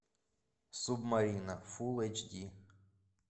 субмарина фул эйч ди